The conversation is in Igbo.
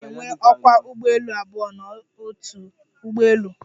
A na-enwe ókwá ụgbọelu abụọ n'otu ụgbọelu.